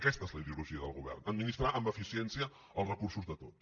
aquesta és la ideologia del govern administrar amb eficiència els recursos de tots